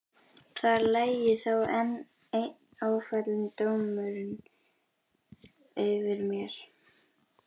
Þar lægi þá enn einn ófallinn dómurinn yfir mér.